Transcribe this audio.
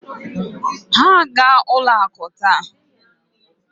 Ha aga-ụlọ akụ taa?